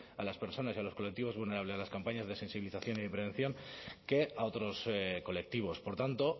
a las personas y a los colectivos vulnerables las campañas de sensibilización y prevención que a otros colectivos por tanto